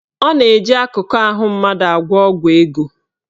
Ọ na-eji akụkụ ahụ mmadụ agwọ ọgwụ ego.